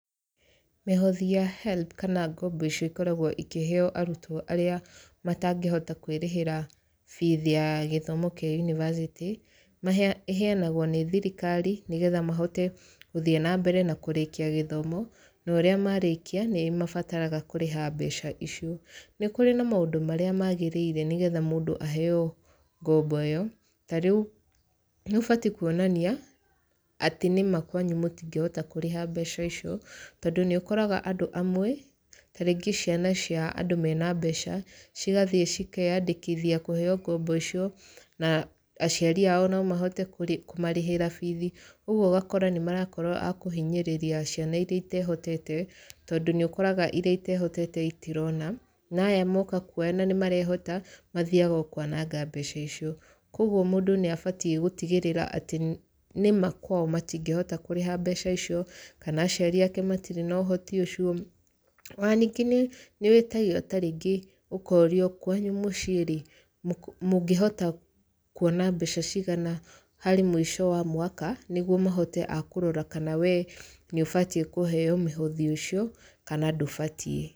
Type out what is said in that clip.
Mĩhothi ya HELB kana ngombo icio ikoragwo ikĩheeo arutwo arĩa matangĩhota kwĩrĩhĩra bithi ya gĩthomo kĩa yunibacĩtĩ, ĩheanagwo nĩ thirikari, nĩgetha mahote gũthiĩ na mbere na kũrĩkia gĩthomo, na ũrĩa marĩkia, nĩ mabataraga kũrĩha mbeca icio. Nĩ kũrĩ na maũndũ marĩa magĩrĩire nĩgetha mũndũ aheeo ngombo ĩyo. Ta rĩu, nĩ ũbati kuonania, atĩ nĩma kwanyu mũtingĩhota kũrĩha mbeca icio, tondũ nĩ ũkoraga andũ amwe, tarĩngĩ ciana cia andũ mena mbeca, cigathiĩ cikeyandĩkithia kũheeo ngombo icio, na aciari ao no mahoteo kũmarĩhĩra bithi. Ũguo ũgakora nĩ marakorwo a kũhinyĩrĩria ciana irĩa itehotete, tondũ nĩ ũkoraga irĩa itehotete itirona, na aya moka kuoya nĩ marehota, mathiaga o kwananga mbeca icio. Kũguo mũndũ nĩ abatiĩ gũtigĩrĩra atĩ nĩma kwao matingĩhota kũrĩha mbeca icio, kana aciari ake matirĩ na ũhoti ũcio. Ona ningĩ nĩ nĩ wĩtagio tarĩngĩ ũkorio kwanyu mũciĩ rĩ, mũngĩhota kuona mbeca cigana harĩ mũico wa mwaka nĩguo mahote a kũrora wee nĩ ũbatiĩ kũheo mĩhothi ũcio, kana ndũbatiĩ.